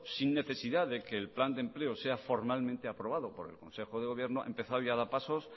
sin necesidad de que el plan de empleo sea formalmente aprobado por el consejo de gobierno ha empezado y ha dado pasos